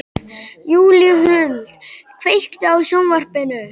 Júlíhuld, kveiktu á sjónvarpinu.